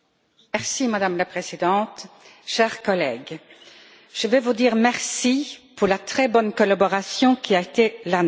Madame la Présidente, chers collègues, je vais vous dire merci pour la très bonne collaboration qui a été la nôtre.